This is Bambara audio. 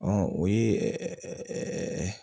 Ɔ o ye ɛɛ